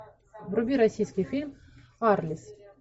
вруби российский фильм арлес